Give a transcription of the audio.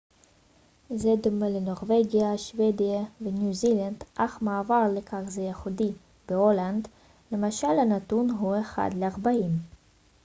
זה דומה לנורווגיה שוודיה וניו זילנד אך מעבר לכך זה ייחודי בהולנד למשל הנתון הוא אחד לארבעים